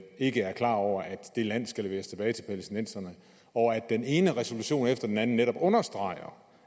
ikke er klar over at det land skal leveres tilbage til palæstinenserne og at den ene resolution efter den anden netop understreger